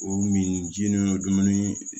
O min jeninen don dumuni